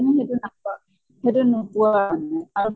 কিন্তু সেইটো নাপাওঁ। সিটো নোপোৱা মানে আৰু